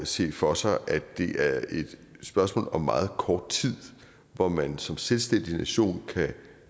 se for sig at det er et spørgsmål om meget kort tid hvor man som selvstændig nation